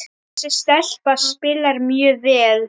Þessi stelpa spilar mjög vel.